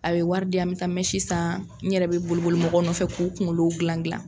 A bɛ wari di yan n bɛ taa san n yɛrɛ bɛ boli boli mɔgɔw nɔfɛ k'u kungolow gilan.